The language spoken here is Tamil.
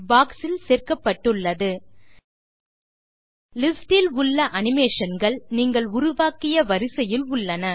பாக்ஸ் இல் சேர்க்கப்பட்டுள்ளது லிஸ்ட் இல் உள்ள அனிமேஷன் கள் நீங்கள் உருவாக்கிய வரிசையில் உள்ளன